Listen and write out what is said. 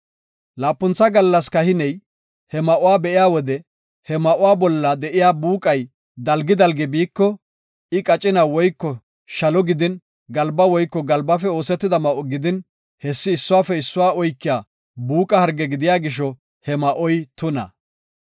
Laapuntha gallas kahiney he ma7uwa be7iya wode he ma7uwa bolla de7iya buuqay dalgi dalgi biiko, I qacina woyko shalo gidin, galba woyko galbafe oosetida ma7o gidin, hessi issuwafe issuwa oykiya buuqa harge gidiya gisho he ma7oy tuna.